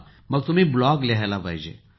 मग तुम्ही ब्लॉग लिहायला हवा